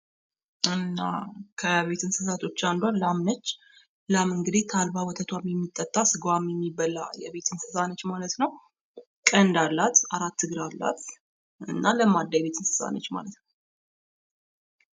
ከቤት እንስሳቶች አንዷ ላም ነች። ላም እንግዲህ ወተቷ የሚጠጣ ስጋዋ የሚበላ ቀንድ አላት። አራት እግር አላት። እና ለማዳ የቤት እንስሳ ነች ማለት ነዉ።